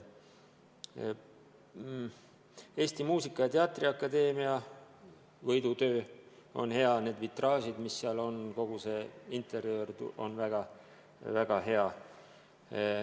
Eesti Muusika- ja Teatriakadeemia võidutöö on hea: need vitraažid, mis seal on, kogu see interjöör on väga kena.